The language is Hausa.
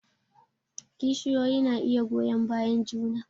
Kishiyoyi na iya goyon bayan juna